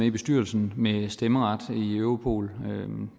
i bestyrelsen med stemmeret i europol